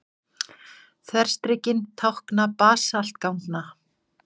Þverstrikin tákna basaltganga.